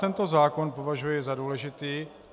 Tento zákon považuji za důležitý.